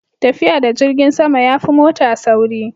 tafiya da jirgin sama ya fi mota sauri